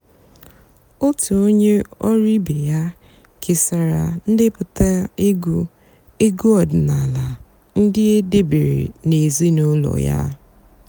ótú ónyé ọ̀rụ́ ìbé yá késàrà ǹdèpụ́tá ègwú ègwú ọ̀dị́náàlà ndị́ é dèbèré n'èzínụ́lọ́ yá.